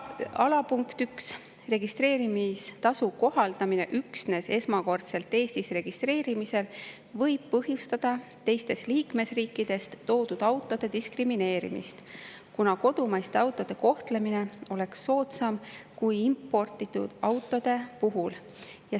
Ja alapunkt 1: registreerimistasu kohaldamine üksnes esmakordselt Eestis registreerimisel võib põhjustada teistest liikmesriikidest toodud autode diskrimineerimist, kuna kodumaiste autode kohtlemine oleks soodsam kui imporditud autode puhul.